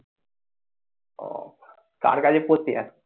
ও কার কাছে পড়তে যাস?